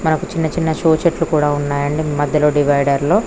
మనకు చిన్న చిన్న షో చెట్లు కూడా ఉన్నాయి అండీ మధ్యలలో డివైడర్ లో.